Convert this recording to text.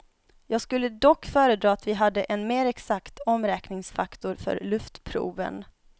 Jag skulle dock föredra att vi hade en mer exakt omräkningsfaktor för luftproven.